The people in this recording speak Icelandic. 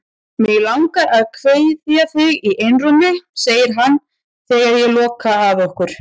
Mig langar að kveðja þig í einrúmi, segir hann þegar ég loka að okkur.